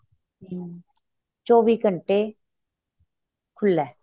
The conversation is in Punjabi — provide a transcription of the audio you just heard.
ਹਮ ਚੋਵੀਂ ਘੰਟੇ ਖੁੱਲਾ ਏ